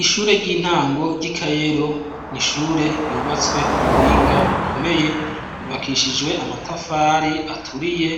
Ishure ry'intango ry'i Kayero ni ishure ryubatswe ku buhinga bukomeye yubakishijwe amatafari aturiye,